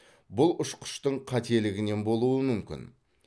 бұл ұшқыштың қателігінен болуы мүмкін